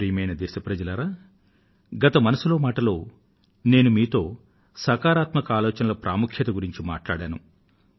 ప్రియమైన నా దేశ వాసులారా గత మనసులో మాట లో నేను మీతో సకారాత్మక ఆలోచనల ప్రాముఖ్యాన్ని గురించి మాట్లాడాను